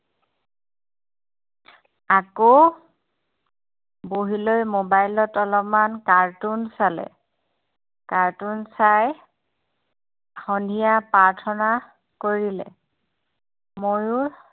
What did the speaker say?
আকৌ বহিলৈ mobile অলপমান cartoon চালে cartoon চাই সন্ধিয়া প্ৰাৰ্থনা কৰিলে মইয়ো